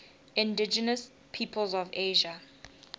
indigenous peoples of asia